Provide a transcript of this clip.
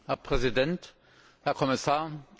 Herr Präsident, Herr Kommissar!